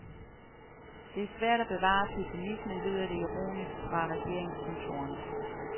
Det er svært at bevare pessimismen, lyder det ironisk fra regeringskontorerne.